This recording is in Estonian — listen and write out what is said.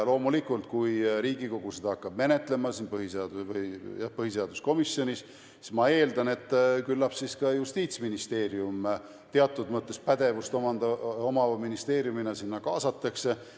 Loomulikult, kui Riigikogu hakkab seda menetlema siin põhiseaduskomisjonis, siis ma eeldan, et küllap ka Justiitsministeerium teatud mõttes pädevust omava ministeeriumina sinna kaasatakse.